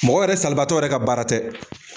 Mɔgɔ yɛrɛ salibaatɔ yɛrɛ ka baara tɛ.